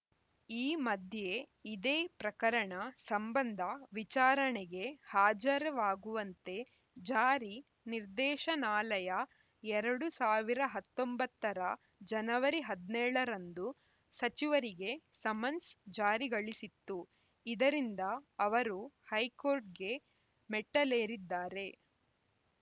ಈ ಮಧ್ಯೆ ಇದೇ ಪ್ರಕರಣ ಸಂಬಂಧ ವಿಚಾರಣೆಗೆ ಹಾಜರಾಗುವಂತೆ ಜಾರಿ ನಿರ್ದೇಶನಾಲಯ ಎರಡ್ ಸಾವಿರ ಹತ್ತೊಂಬತ್ತರ ಜನವರಿ ಹದಿನೇಳ ರಂದು ಸಚಿವರಿಗೆ ಸಮನ್ಸ್‌ ಜಾರಿಗಳಿಸಿತ್ತು ಇದರಿಂದ ಅವರು ಹೈಕೋರ್ಟ್‌ಗೆ ಮೆಟ್ಟಿಲೇರಿದ್ದಾರೆ